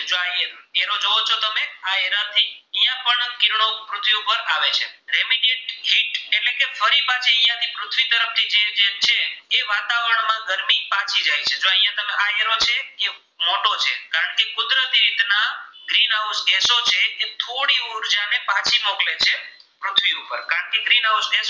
તે થોડી ઉર્જાને પાછી મોકલે છે પૃથ્વી ઉપર કારણે કે ગ્રીનહાઉસ